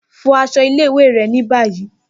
Fọ aṣọ ile-iwe rẹ ni bayi!